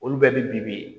Olu bɛɛ bɛ bibi